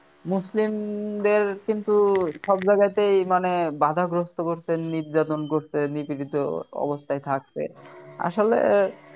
মুসলিমদের কিন্তু সব জায়গাতেই মানে বাধাগ্রস্থ করছে নির্যাতন করছে নিপীড়িত অবস্থায় থাকছে আসলে